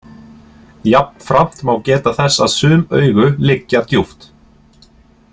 Jafnframt má geta þess að sum augu liggja djúpt.